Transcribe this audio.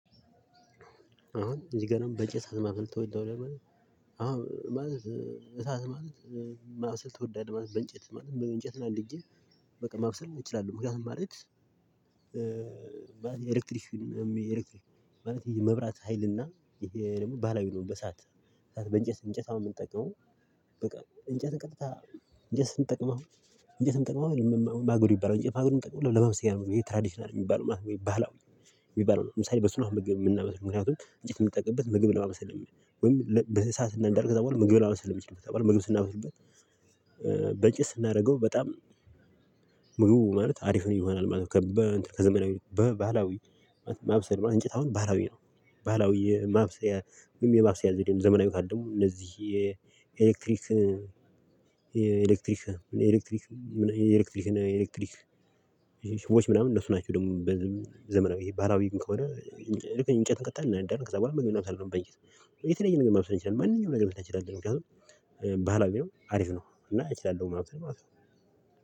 አሁን እዚህ ጋር ነው እንጨት ማብሰል ትወዳዋለህ አሁን ማለት እሳት ማለት ማሰል ትወዳለህ? ማለት በእንጨት ማለት በእንጨት ነው አንድ እንዲህ በቃ ማብሰል እንችላለን ማለት የኤሌክትሪሽን ማለት የመብራት ሀይልና ይሄ ደግሞ ባላዊ ነው። በሰአት በእንጨት እንጨት አይደለም የምንጠቀው በቃ እንጨት እንጨት እንጨት ስንጠቅም እንጨት ስንጠቅም ማገዶ ይባላል ማገዶ ሚጠቅመው ለማብሰያ ነው። ይሄ ትራዲሽናል የሚባለው ማለት ነው። የሚባለው ለምሳሌ በስንሃው ምግብ የምናመስል ምክንያቱም እንጭት የምንጠቅምበት ምግብ ለማመሰለን ወይም በሰአትና እንደርክ እዛ በኋላ ምግብ ለማበሰልም ይችላል። ምግብ ስናበስብህ በጭስ ስናደርገው በጣም ሙሉ ማለት አሪፍ ይሆናል። ማለትከዘመናዊ በ ባህላዊ ማብሰል እንጨት አሁን ባህላዊ ነው ባህላዊ የማብሰል ወይም የማብሰያ ዘዴ ነው። ዘመናዊው ካልን ደግሞ እነዚህ የኤሌክትሪክ የኤሌክትሪክ የኤሌክትሪክ የኤሌክትሪክ ሽቦች ምናምን እሱ ናቸው። ደግሞ ዘመናዊ ባህላዊ ግን ከሆነ እንጨት እንከታለን እናንዳለን ከዛ በኋላ ምን መሰለህ በየት? የተለየ ነገር መምሰለኝ እንችላለን ማንኛውም ነገር መስራት እንችላለን። ምክንያቱም ባህላዊ ነው አሪፍ ነው እና እችላለሁ ማለት ነው።